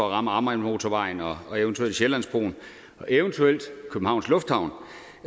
at ramme amagermotorvejen og eventuelt sjællandsbroen og eventuelt københavns lufthavn